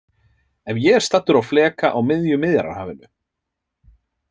Ef ég er staddur á fleka á miðju Miðjarðarhafinu.